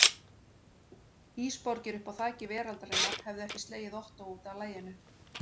Ísborgir uppi á þaki veraldarinnar hefðu ekki slegið Ottó útaf laginu.